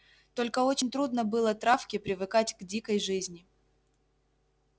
только очень трудно было травке привыкать к дикой жизни